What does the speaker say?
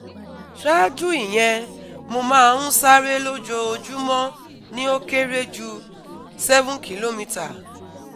Saaju iyen, mo ma n sare lojoojumọ ni o kere ju seven kilometre